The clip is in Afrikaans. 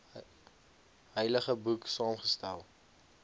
heilige boek saamgestel